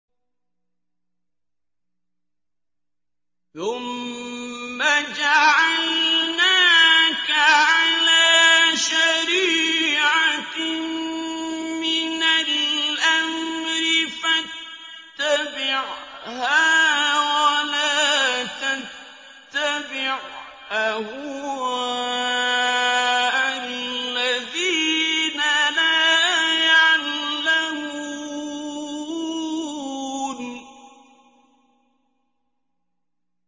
ثُمَّ جَعَلْنَاكَ عَلَىٰ شَرِيعَةٍ مِّنَ الْأَمْرِ فَاتَّبِعْهَا وَلَا تَتَّبِعْ أَهْوَاءَ الَّذِينَ لَا يَعْلَمُونَ